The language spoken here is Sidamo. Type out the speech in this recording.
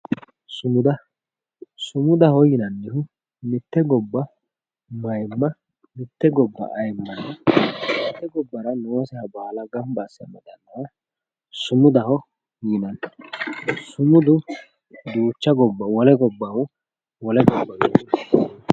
sumuda sumudaho yinannihu mitte gobba ayiimma nooseha gara baala gamba asse amadannoha ikkanna sumudano yinanni sumudu duucha gobbahu wole gobbaho...